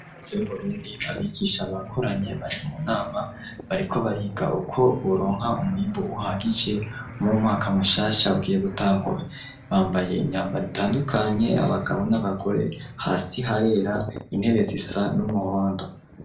Z'uburundi abigisha bakoranye bari mu nama bariko bariga uko buronka umuyimbu uhagije mumwaka mushasha abwiye gutangura bambaye imyambaro itandukanye abagabo n'abagore hasi harera intebe zisa n'umuhondo.